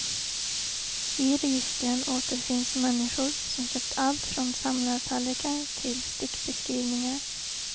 I registren återfinns människor som köpt allt från samlartallrikar till stickbeskrivningar.